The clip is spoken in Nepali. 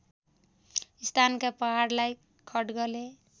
स्थानका पहाडलाई खड्गले